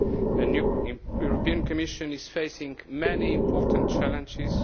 A new European Commission is facing many important challenges.